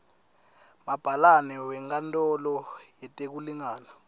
mabhalane wenkantolo yetekulingana